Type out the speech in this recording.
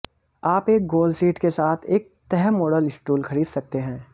आप एक गोल सीट के साथ एक तह मॉडल स्टूल खरीद सकते हैं